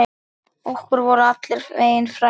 Okkur voru allir vegir færir.